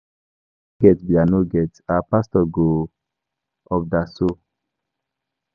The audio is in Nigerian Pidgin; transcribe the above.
I no get be I no get, our pastor go ubderso.